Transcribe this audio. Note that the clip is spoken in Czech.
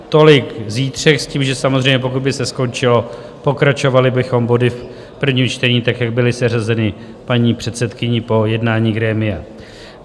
Tolik zítřek, s tím, že samozřejmě pokud by se skončilo, pokračovali bychom body v prvním čtení tak, jak byly seřazeny paní předsedkyní po jednání grémia.